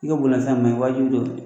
wajibi don